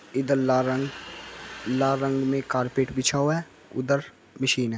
इधर लाल रंग लाल रंग में कार्पेट बिछा हुआ है उधर मशीन है।